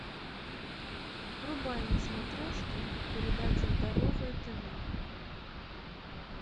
врубай на смотрешке передачу здоровое тв